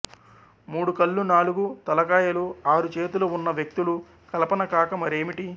మూడు కళ్లు నాలుగు తలకాయలు ఆరు చేతులు ఉన్న వ్యక్తులు కల్పన కాక మరేమిటి